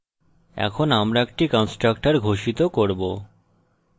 এখন আমরা একটি কন্সট্রকটর ঘোষিত করব